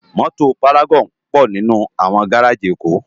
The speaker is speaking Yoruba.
Mòtó várágòn pò ninú áwòn gáráji Ekó